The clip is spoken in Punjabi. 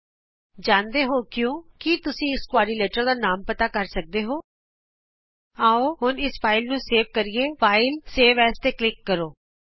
ਤੁਸੀਂ ਜਾਣਦੇ ਹੋ ਕਿਉਂ ਕੀ ਤੁਸੀਂ ਇਸ ਚਤੁਰਭੁਜ ਦਾ ਨਾਮ ਪਤਾ ਕਰ ਸਕਦੇ ਹੋ ਆਉ ਹੁਣ ਇਸ ਫਾਈਲ ਨੂੰ ਸੇਵ ਕਰਦੇ ਹਾਂFilegtgt ਸੇਵ Asਤੇ ਕਲਿਕ ਕਰੋ